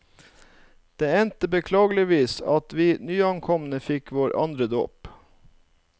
Det endte beklageligvis at vi nyankomne fikk vår andre dåp.